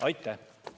Aitäh!